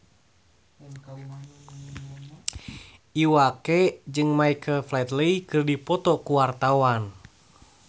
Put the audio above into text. Iwa K jeung Michael Flatley keur dipoto ku wartawan